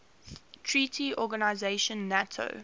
treaty organisation nato